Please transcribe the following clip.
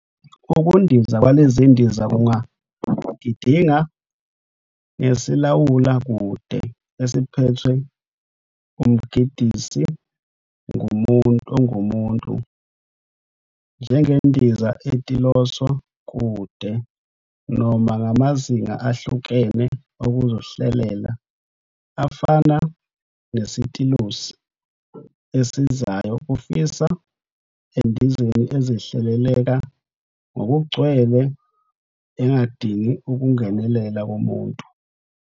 Ukundiza kwalezindiza kungagidinga ngesilawula-kude, esiphethwe umgidingisi ongumuntu, njengendiza etiloswa-kude, noma ngamazinga ahlukene okuzihleleleka, afana nesitilosi esisizayo, kufika endizeni ezihleleleka ngokugcwele engadingi ukungenelela komuntu.